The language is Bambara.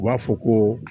U b'a fɔ ko